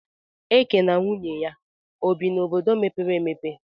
Eke na nwunye ya obi n'obodo mepere emepe